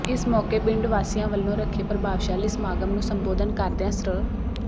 ਇਸ ਮੌਕੇ ਪਿੰਡ ਵਾਸੀਆਂ ਵੱਲੋਂ ਰੱਖੇ ਪ੍ਰਭਾਵਸ਼ਾਲੀ ਸਮਾਗਮ ਨੂੰ ਸੰਬੋਧਨ ਕਰਦਿਆਂ ਸ੍ਰ